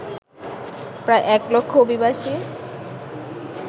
প্রায় এক লক্ষ অভিবাসী